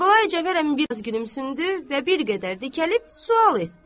Kərbəlayi Cəfər əmi biraz gülümsündü və bir qədər dikəlib sual etdi: